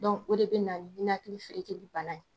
o de bina ni ninakili feerekeli bala ye.